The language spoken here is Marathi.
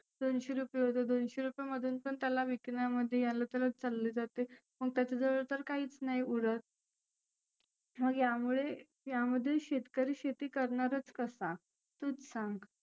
दोनशे रुपए होते. दोनशे रुपयामधुन पण त्याला विकण्यामध्ये याला त्यालच चालले जाते. मग त्याच्या जवळ तर काहीच नाही उरत. मग यामुळे यामध्ये शेतकरी शेती करणारच कसा? तुच सांग.